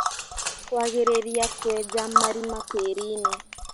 Kwagĩrĩria kwenja marima tĩriinĩ